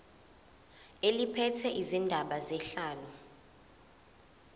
eliphethe izindaba zenhlalo